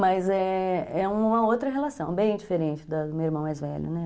Mas é, é uma outra relação, bem diferente da do meu irmão mais velho, né?